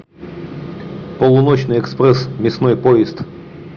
полуночный экспресс мясной поезд